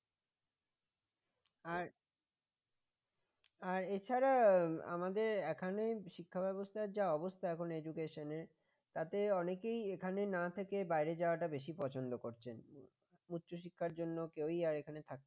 আর আর এছাড়া আমাদের এখানে শিক্ষা ব্যবস্থার যা অবস্থা এখন education তাতে অনেকেই এখানেই না থেকে বাইরে যাওয়াটা বেশি পছন্দ করছেন উচ্চশিক্ষার জন্য কেউই আর এখানে থাকতে